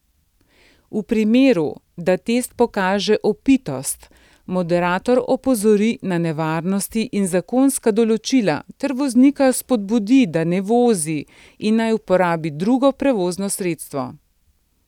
V primeru, da test pokaže opitost, moderator opozori na nevarnosti in zakonska določila ter voznika spodbudi, da ne vozi in naj uporabi drugo prevozno sredstvo.